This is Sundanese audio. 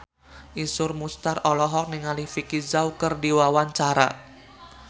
Iszur Muchtar olohok ningali Vicki Zao keur diwawancara